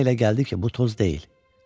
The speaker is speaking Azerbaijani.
Ona elə gəldi ki, bu toz deyil.